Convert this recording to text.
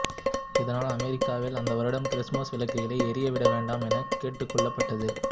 இதனால் அமெரிக்காவில் அந்த வருடம் கிறிஸ்மஸ் விளக்குகளை எரிய விட வேண்டாம் என கேட்டுக்கொள்ளப்பட்டது